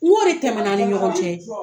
K'o de tɛmɛna an ni ɲɔgɔn cɛ